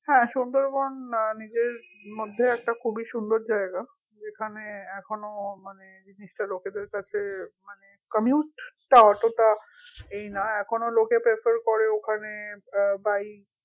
হ্যা সুন্দরবন নিজের মধ্যেই একটা খুবই সুন্দর জায়গা যেখানে এখনো মানে জিনিসটা লোকেদের কাছে মানে commute তা অতটা এই না এখনো লোকে prefer করে ওখানে আহ by